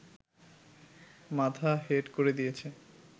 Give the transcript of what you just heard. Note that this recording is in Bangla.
মাথা হেট করে দিয়েছে